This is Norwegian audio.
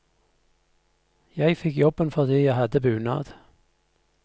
Jeg fikk jobben fordi jeg hadde bunad.